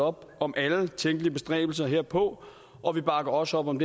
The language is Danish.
op om alle tænkelige bestræbelser herpå og vi bakker også op om